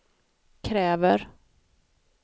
kräver